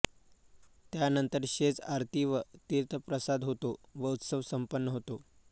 त्यानंतर शेज आरती व तीर्थप्रसाद होतो व उत्सव संपन्न होतो